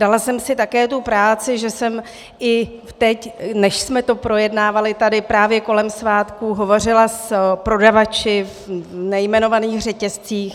Dala jsem si také tu práci, že jsem i teď, než jsme to projednávali tady, právě kolem svátků hovořila s prodavači v nejmenovaných řetězcích.